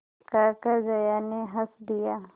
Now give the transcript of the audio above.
कहकर जया ने हँस दिया